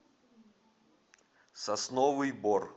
сосновый бор